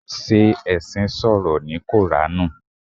Ṣé ẹṣin sọ̀rọ̀ ní koranu?